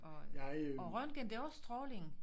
Og og røntgen det også stråling